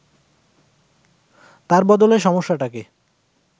তার বদলে সমস্যাটাকে